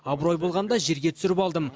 абырой болғанда жерге түсіріп алдым